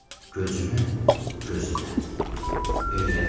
Gözümü gözünə öyrətmə belə.